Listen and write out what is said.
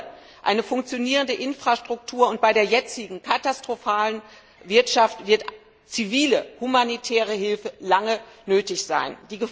Ohne eine funktionierende Infrastruktur und bei der jetzigen katastrophalen Wirtschaft wird zivile, humanitäre Hilfe lange nötig sein.